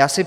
Já si